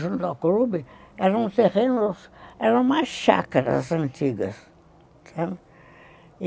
junto ao clube, eram terrenos, eram umas chácaras antigas.